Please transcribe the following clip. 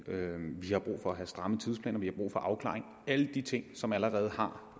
vi har brug for at have stramme tidsplaner og vi har brug for afklaring alle de ting som allerede har